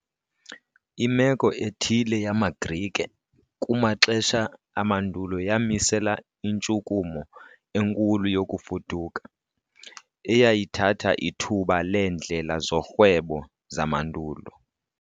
Imeko ethile yamaGrike kumaxesha amandulo yamisela intshukumo enkulu yokufuduka, eyayithatha ithuba leendlela zorhwebo zamandulo.